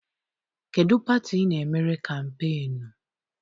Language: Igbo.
Kedụ pati I na-emere kampeenu?